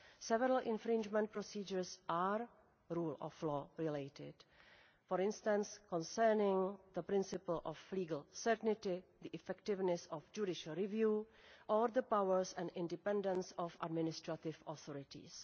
Several infringement procedures are rule of law related, for instance, concerning the principle of legal certainty, the effectiveness of judicial review, or the powers and independence of administrative authorities.